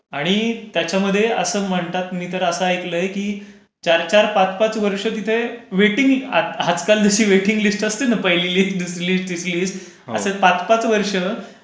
आणि त्याच्यामध्ये असं म्हणतात मी तर असं ऐकलं आहे की चार चार पाच पाच वर्ष तिथे वेटिंग... आजकाल जशी वेटिंग लिस्ट असते ना, पहिली लिस्ट, दुसरी लिस्ट, तिसरी लिस्ट असे पाच पाच वर्ष